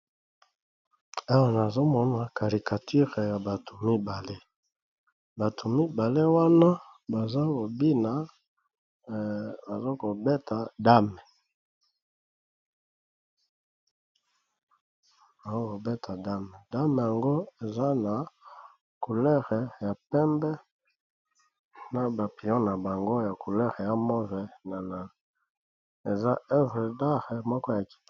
Awa nazomona karikature ya bato mibale, bato mibale wana bazokobeta dame, dame yango eza na coulere ya pembe na bapion na bango ya coulere ya move, na eza evre dare moko yakito .